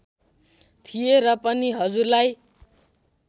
थिए र पनि हजुरलाई